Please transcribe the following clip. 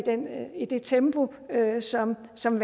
i det tempo som som